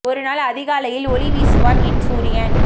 ஒரு நாள் அதி காலை யில் ஒளி வீசுவான் என் சூரியன்